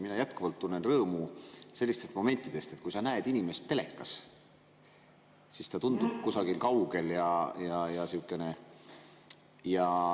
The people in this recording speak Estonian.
Mina jätkuvalt tunnen rõõmu sellistest momentidest, et kui sa näed inimest telekas, siis ta tundub kusagil kaugel ja sihukene …